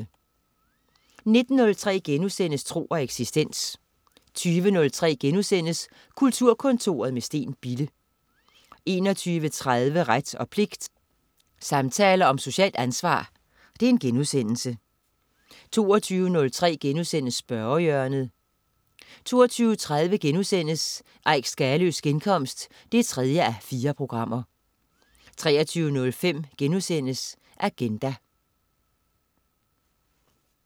19.03 Tro og eksistens* 20.03 Kulturkontoret med Steen Bille* 21.30 Ret og pligt. Samtaler om socialt ansvar* 22.03 Spørgehjørnet* 22.30 Eik Skaløes genkomst 3:4* 23.05 Agenda*